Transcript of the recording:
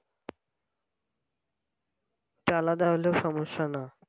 সে আলাদা হইলেও সমস্যা না